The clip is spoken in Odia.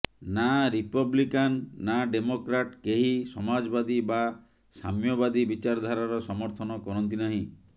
ନା ରିପବ୍ଲିକାନ୍ ନା ଡିମୋକ୍ରାଟ୍ କେହି ସମାଜବାଦୀ ବା ସାମ୍ୟବାଦୀ ବିଚାରଧାରାର ସମର୍ଥନ କରନ୍ତି ନାହିଁ